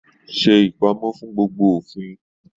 Se ipamọ fún gbogbo òfin!